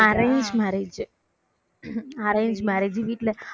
அஹ் arranged marriage arranged marriage வீட்ல